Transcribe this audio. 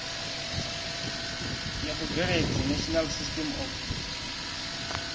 ya vhubveledzi national system of